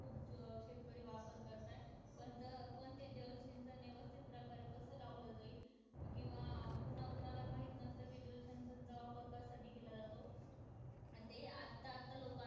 खूप शेतकरी वापर करतात पण ते पण ते जलसिंचा व्यवस्थित प्रकार कस लावलं जाईल किंवा अं कुणाकुणाला माहित नसत कि त्याचं जलसिंचा वापर कशासाठी केला जातो अं ते आता आता लोकांना